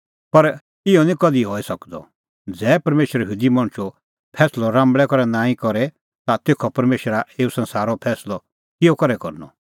पर इहअ निं कधि हई सकदअ ज़ै परमेशर यहूदी मणछो फैंसलअ राम्बल़ै करै नांईं करे ता तेखअ परमेशरा एऊ संसारो फैंसलअ किहअ करै करनअ